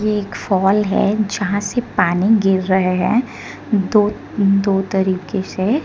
एक फॉल है जहां से पानी गिर रहे है दो दो तरीके से।